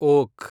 oak